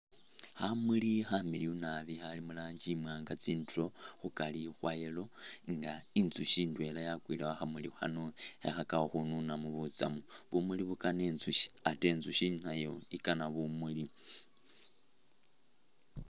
Khamuli kamiliyu naabi khali muranji imwanga tsindulo, khukari khwa yellow nga inzushi indwela yakwile khukhamuli khano khekhakakho khununamo butsamu, bumuuli bukaana inzushi ate inzushi nayo ikana bumuuli.